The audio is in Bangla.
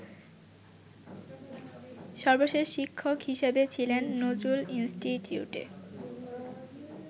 সর্বশেষ শিক্ষক হিসাবে ছিলেন নজরুল ইনস্টিটিউটে।